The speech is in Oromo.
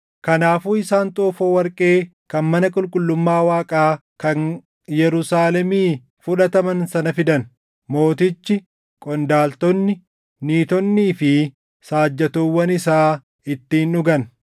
Kanaafuu isaan xoofoo warqee kan mana qulqullummaa Waaqaa kan Yerusaalemii fudhataman sana fidan; mootichi, qondaaltonni, niitonnii fi saajjatoowwan isaa ittiin dhugan.